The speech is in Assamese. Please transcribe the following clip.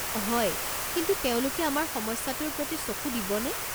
হয়, কিন্তু তেওঁলোকে আমাৰ সমস্যাটোৰ প্ৰতি চকু দিবনে?